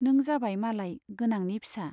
नों जाबाय मालाय गोनांनि फिसा।